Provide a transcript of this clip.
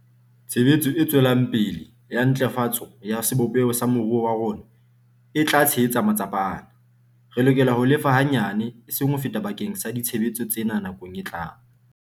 Tshebetso e tswelang pele ya ntlafatso ya sebopeho sa moruo wa rona e tla tshehetsa matsapa ana. Re lokela ho lefa hanyane, eseng ho feta bakeng sa ditshebeletso tsena nakong e tlang.